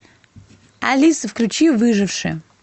алиса включи выжившие